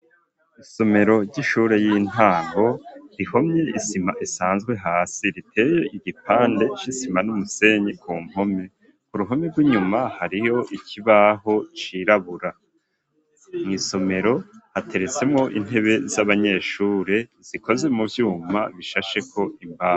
Isomero ry'ishure y'intango rihomye isima isanzwe hasi riteye igipande c'isima numusenyi ku mpome ku ruhome rw'inyuma hariho ikibaho cirabura mw'isomero hateretsemwo intebe z'abanyeshure zikoze mu vyuma bishasheko imbaho.